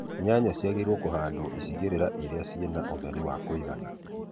Nyanya ciagĩrĩirwo kũhandwo ĩcegerera ĩria ciĩna ũtheri wa kũigana